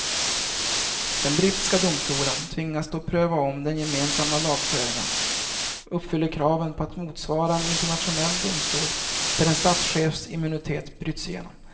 Den brittiska domstolen tvingas då pröva om den gemensamma lagföringen uppfyller kraven på att motsvara en internationell domstol där en statschefs immunitet bryts igenom.